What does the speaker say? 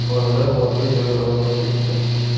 Bolalar voqea joyida vafot etdi.